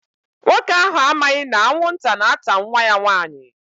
Nwoke ahụ amaghị na anwụnta na-ata nwa ya nwanyị.